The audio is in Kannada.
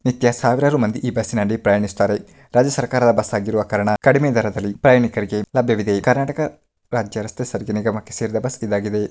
ನಿತ್ಯ ಸಾವಿರಾರು ಮಂದಿ ಈ ಬಸ್ ನಲ್ಲಿ ಪ್ರಯಾಣಿಸುತ್ತಾರೆ ರಾಜ್ಯ ಸರ್ಕಾರದ ಆಗಿರುವ ಕಾರಣ ಕಡಿಮೆ ದರದಲ್ಲಿ ಪ್ರಯಾಣಿಕರಿಗೆ ಅನುಕೂಲವಾಗಿದೆ ಕರ್ನಾಟಕ ರಾಜ್ಯ ರಸ್ತೆ ಸಾರಿಗೆ ನಿಗಮಕ್ಕೆ ಸೇರಿದ ಬಸ್ಸಾಗಿದೆ.